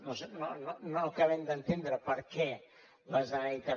no acaben d’entendre per què la generalitat